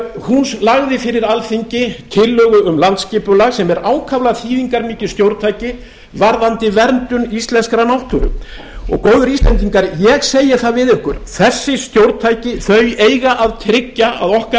og hún lagði fyrir alþingi tillögu um landsskipulag sem er ákaflega þýðingarmikið stjórntæki varðandi verndun íslenskrar náttúru góðir íslendingar ég segi við ykkur þessi stjórntæki eiga að tryggja að okkar